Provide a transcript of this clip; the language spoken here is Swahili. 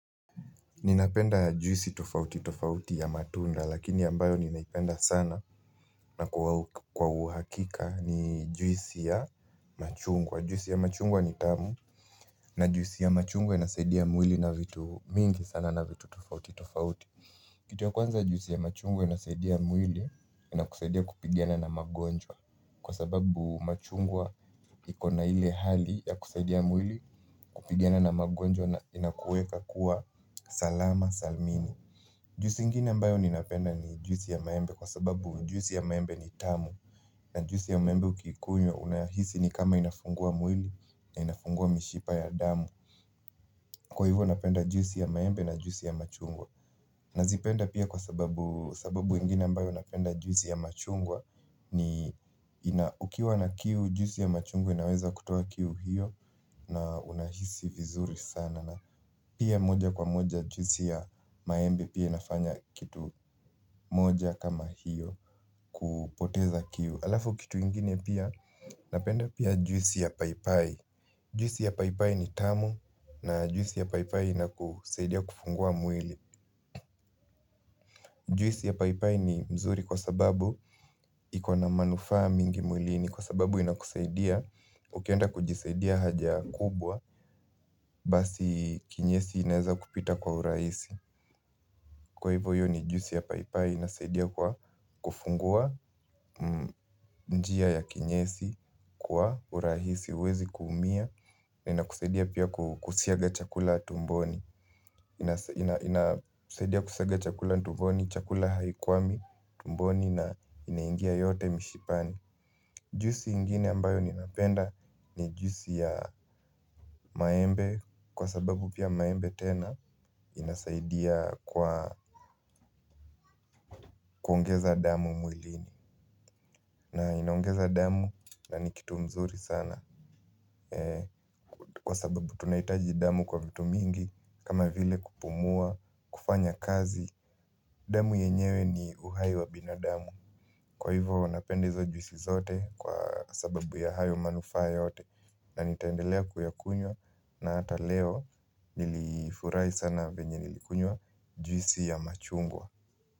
Ninapenda juisi tofauti tofauti ya matunda lakini ambayo ninaipenda sana na kwa uhakika ni juisi ya machungwa. Juisi ya machungwa ni tamu na juisi ya machungwa inasaidia mwili na vitu vingi sana na vitu tofauti tofauti. Kitu ya kwanza juisi ya machungwa inasaidia mwili, inakusaidia kupigana na magonjwa. Kwa sababu machungwa iko na ile hali ya kusaidia mwili kupigana na magonjwa inakuweka kuwa salama salmini. Juisi ingine ambayo ninapenda ni juisi ya maembe kwa sababu juisi ya maembe ni tamu na juisi ya maembe ukikunywa unahisi ni kama inafungua mwili na inafungua mishipa ya damu. Kwa hivyo napenda juisi ya maembe na juisi ya machungwa Nazipenda pia kwa sababu, sababu ingine ambayo napenda juisi ya machungwa ni ina, ukiwa na kiu, juisi ya machungwa inaweza kutowa kiu hiyo na unahisi vizuri sana Pia moja kwa moja juisi ya maembe pia inafanya kitu moja kama hiyo kupoteza kiu. Halafu kitu ingine pia napenda pia juisi ya paipai Juisi ya paipai ni tamu na juisi ya paipai inakusaidia kufungua mwili. Juisi ya paipai ni mzuri kwa sababu iko na manufaa mingi mwilini kwa sababu inakusaidia ukienda kujisaidia haja kubwa basi kinyesi inaeza kupita kwa urahisi. Kwa hivyo hiyo ni juisi ya paipai inasaidia kwa kufungua njia ya kinyesi kwa urahisi huwezi kuumia. Na inakusadia pia kusiaga chakula tumboni inasaidia kusiaga chakula tumboni, chakula haikuwami tumboni na inaingia yote mishipani. Juisi ingine ambayo ninapenda ni juisi ya maembe kwa sababu pia maembe tena inasaidia kwa kuongeza damu mwilini na inaongeza damu na ni kitu mzuri sana kwa sababu tunahitaji damu kwa vitu mingi kama vile kupumua, kufanya kazi damu yenyewe ni uhai wa binadamu Kwa hivyo napenda hizo juisi zote kwa sababu ya hayo manufaa yote na nitaendelea kuyakunywa na hata leo nilifurahi sana venye nilikunywa juisi ya machungwa.